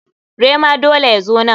Rema dole ya zo nan.